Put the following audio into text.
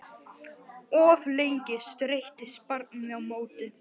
Of lengi streittist barnið á móti